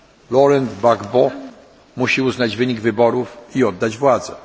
Laurent Gbagbo musi uznać wynik wyborów i oddać władzę.